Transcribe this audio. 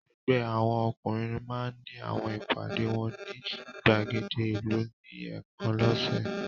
Ẹgbẹ́ àwọn ọkùnrin máa ń ní àwọn ìpàdé wọn ní ìgbàgede ìlú ní ẹ̀ẹ̀kan lọ́sẹ̀.